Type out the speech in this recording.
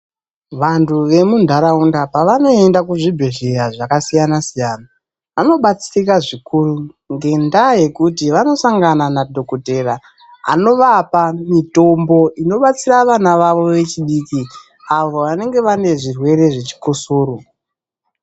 Vantu vemuntaraunda pavanoenda kuzvibhehlera zvakasiyana siyana vanobatsirika zvikuru ngendaa yekuti vanosangana nadhokotera anovapa mitombo inobatsira vana vavo vechidiki avo vanenge vane zvirwere zvechikosoro.